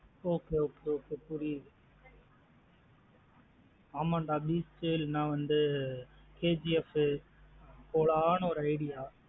Okay okay okay புரியுது அமாண்ட beast இல்லேன வந்து KGF வு போலன்னு ஒரு idea அ